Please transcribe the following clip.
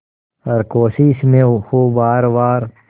हर कोशिश में हो वार वार